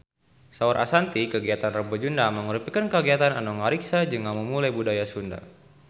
Saur Ashanti kagiatan Rebo Nyunda mangrupikeun kagiatan anu ngariksa jeung ngamumule budaya Sunda